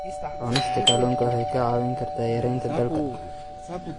Cunista kalluunka waxay kaa caawin kartaa yaraynta daalka.